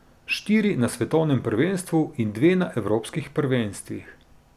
Štiri na svetovnem prvenstvu in dve na evropskih prvenstvih.